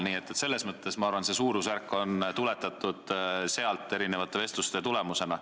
Nii et ma arvan, see suurusjärk on tuletatud sellest, erinevate vestluste tulemusena.